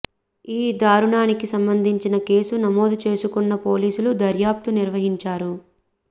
ఈ దారుణానికి సంబంధించి కేసు నమోదు చేసుకున్న పోలీసులు దర్యాప్తు నిర్వహించారు